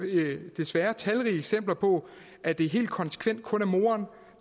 desværre talrige eksempler på at det helt konsekvent kun er moren